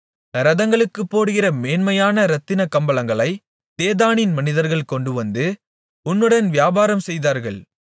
இரதங்களுக்குப் போடுகிற மேன்மையான இரத்தினக் கம்பளங்களை தேதானின் மனிதர்கள் கொண்டுவந்து உன்னுடன் வியாபாரம் செய்தார்கள்